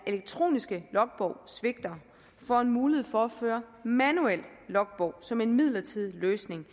elektroniske logbog svigter får mulighed for at føre en manuel logbog som en midlertidig løsning